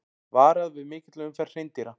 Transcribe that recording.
Varað við mikilli umferð hreindýra